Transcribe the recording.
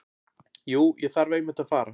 Jú, ég þarf einmitt að fara.